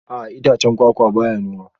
A'a itacen kwakwa ba ya noma